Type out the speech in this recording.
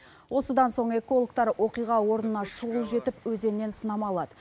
осыдан соң экологтар оқиға орнына шұғыл жетіп өзеннен сынама алады